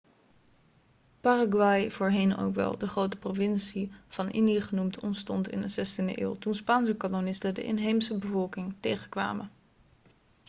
paraguay voorheen ook wel de grote provincie van indië' genoemd ontstond in de 16e eeuw toen spaanse kolonisten de inheemse bevolking tegenkwamen